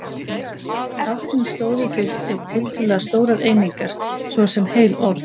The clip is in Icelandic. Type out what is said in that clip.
Táknin stóðu fyrir tiltölulega stórar einingar, svo sem heil orð.